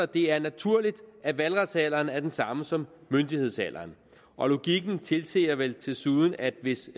det er naturligt at valgretsalderen er den samme som myndighedsalderen og logikken tilsiger vel desuden at hvis